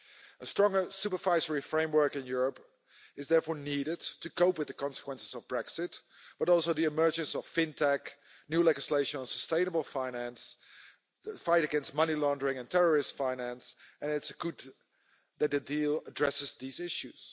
A stronger supervisory framework in Europe is therefore needed to cope with the consequences of Brexit, but also the emergence of fintech, new legislation on sustainable finance, the fight against money laundering and terrorist finance, and it's good that the deal addresses these issues.